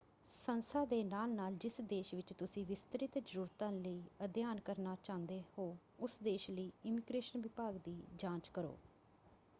ਸੰਸਥਾ ਦੇ ਨਾਲ-ਨਾਲ ਜਿਸ ਦੇਸ਼ ਵਿੱਚ ਤੁਸੀਂ ਵਿਸਤ੍ਰਿਤ ਜ਼ਰੂਰਤਾਂ ਲਈ ਅਧਿਐਨ ਕਰਨਾ ਚਾਹੁੰਦੇ ਹੋ ਉਸ ਦੇਸ਼ ਲਈ ਇਮੀਗ੍ਰੇਸ਼ਨ ਵਿਭਾਗ ਦੀ ਜਾਂਚ ਕਰੋ।